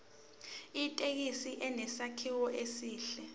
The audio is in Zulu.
ithekisi inesakhiwo esihle